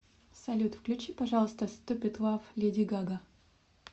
салют включи пожалуйста ступид лав леди гага